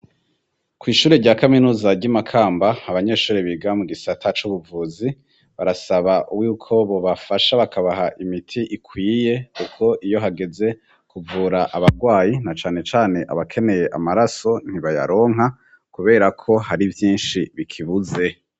Kw'ishure rya kaminuza ry' i Makamba kamba, abanyeshuri biga mu gisata c'ubuvuzi barasaba y'uko bobafasha bakabaha imiti ikwiye kuko iyo hageze kuvura abarwayi na cane cane abakeneye amaraso ntibayaronka kubera ko hari vyinshi bikibuze.